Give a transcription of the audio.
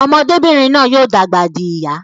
Ọmọbinrin náà yóò dàgbà dì ìyá